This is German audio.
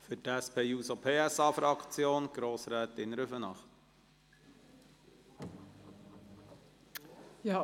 Für die SP-JUSO-PSA-Fraktion, Grossrätin Rüfenacht.